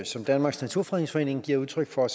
som danmarks naturfredningsforening giver udtryk for